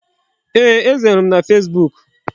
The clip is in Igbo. Yes, Eze hụrụ m na fesbuk.